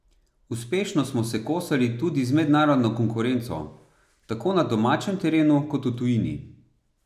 Uspešno smo se kosali tudi z mednarodno konkurenco, tako na domačem terenu kot v tujini.